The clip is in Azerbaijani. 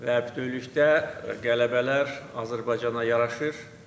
Və bütövlükdə qələbələr Azərbaycana yaraşır.